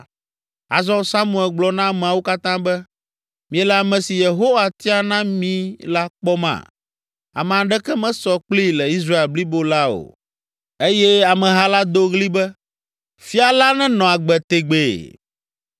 Azɔ Samuel gblɔ na ameawo katã be, “Miele ame si Yehowa tia na mí la kpɔma? Ame aɖeke mesɔ kplii le Israel blibo la o!” Eye ameha la do ɣli be, “Fia la nenɔ agbe tegbee!”